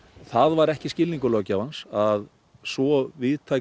það var ekki skilningur löggjafans að svo víðtæk